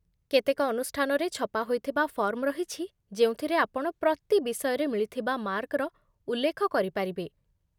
କେତେକ ଅନୁଷ୍ଠାନରେ ଛପା ହୋଇଥିବା ଫର୍ମ ରହିଛି ଯେଉଁଥିରେ ଆପଣ ପ୍ରତି ବିଷୟରେ ମିଳିଥିବା ମାର୍କର ଉଲ୍ଲେଖ କରିପାରିବେ